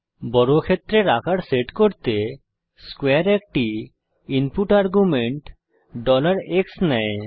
বর্গক্ষেত্রের আকার সেট করতে স্কোয়ারে একটি ইনপুট আর্গুমেন্ট x নেয়